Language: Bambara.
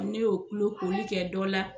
Ne y'o tulo koli kɛ dɔ la